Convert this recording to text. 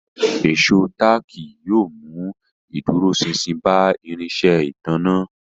Ìṣó táàkì yóò mú ìdúróṣinṣin bá irinṣẹ́ ìtanná